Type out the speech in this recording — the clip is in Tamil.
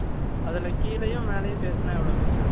அதுல கீழயும், மேலயும் சேத்துனா, எவ்வளவு பெருசு இருக்கும்?